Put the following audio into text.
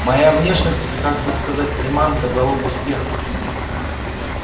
моя внешность это как бы сказать приманка залог успеха